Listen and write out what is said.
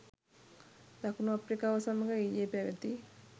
දකුණු අප්‍රිකාව සමඟ ඊයේ පැවති